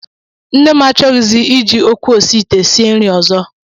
Nne m achọghịzi iji ekwu osiite sie nri ọzọ